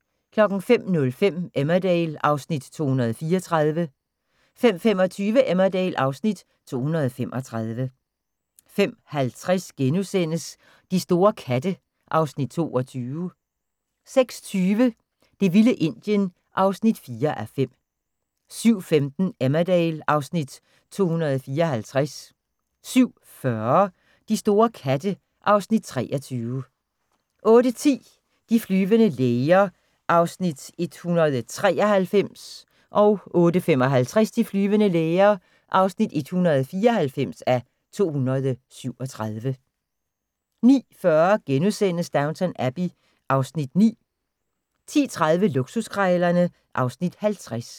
05:05: Emmerdale (Afs. 234) 05:25: Emmerdale (Afs. 235) 05:50: De store katte (Afs. 22)* 06:20: Det vilde Indien (4:5) 07:15: Emmerdale (Afs. 254) 07:40: De store katte (Afs. 23) 08:10: De flyvende læger (193:237) 08:55: De flyvende læger (194:237) 09:40: Downton Abbey (Afs. 9)* 10:30: Luksuskrejlerne (Afs. 50)